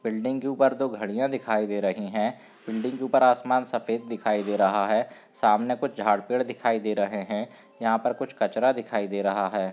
Building के ऊपर दो घड़िया दिखाई दे रही हैं बिल्डिंग के ऊपर आसमान सफेद दिखाई दे रहा है सामने कुछ झाड़ पेड़ दिखाई दे रहैं हैं यहां पर कुछ कचरा दिखाई दे रहा हैं।